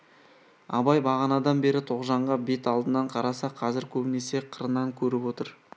абай бағанадан бері тоғжанға бет алдынан қараса қазір көбінесе қырынан көріп отыр